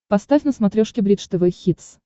поставь на смотрешке бридж тв хитс